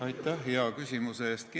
Aitäh hea küsimuse eest!